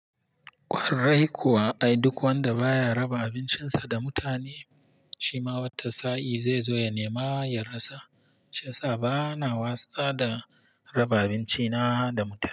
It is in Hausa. Kwarai kuwa, ai duk wanda baya raba abincinsa da mutane, shima wata sa in zai zo ya nema ya rasa. Shiyasa bana wasa da raba abinci na da mutane.